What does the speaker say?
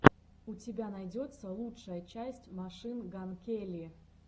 у тебя найдется лучшая часть машин ган келли